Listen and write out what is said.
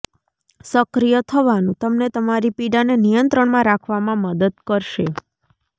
સક્રિય થવાનું તમને તમારી પીડાને નિયંત્રણમાં રાખવામાં મદદ કરશે